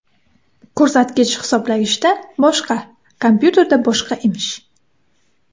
Ko‘rsatkich hisoblagichda boshqa, kompyuterda boshqa emish.